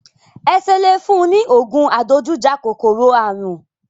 Ẹ ṣe le fún un ní ògùn adojújà kọ kòkòrò àrùn?